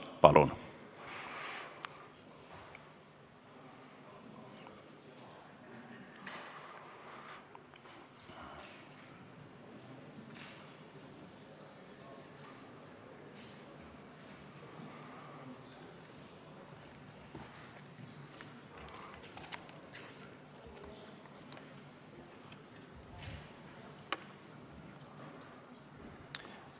Palun!